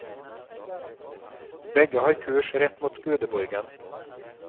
Begge har kurs rett mot gudeborgen.